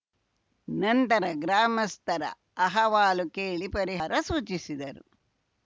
ನಂತರ ಗ್ರಾಮಸ್ಥರ ಅಹವಾಲು ಕೇಳಿ ಪರಿಹಾರ ಸೂಚಿಸಿದರು